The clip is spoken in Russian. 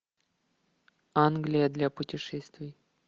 англия для путешествий